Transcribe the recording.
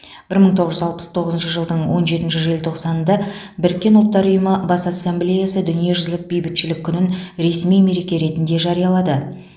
бір мың тоғыз жүз алпыс тоғызыншы жылдың он жетінші желтоқсанында біріккен ұлттар ұйымы бас ассамблеясы дүниежүзілік бейбітшілік күнін ресми мереке ретінде жариялады